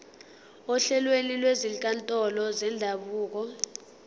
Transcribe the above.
ohlelweni lwezinkantolo zendabuko